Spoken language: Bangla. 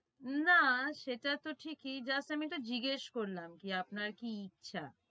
না সেটাতো ঠিকই just আমি একটু জিজ্ঞেস করলাম যে আপনার কি ইচ্ছা